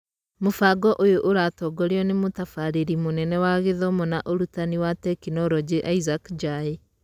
Mũbango ũyũ ũratongorio nĩ Mũtabarĩri Mũnene wa Gĩthomo na Ũrutani wa Tekinoronjĩ ĩsaac Njai.